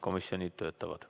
Komisjonid töötavad.